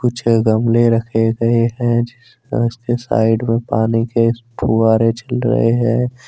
छह गमले रखे गए हैं साइड में पानी के फहवारे चल रहे हैं।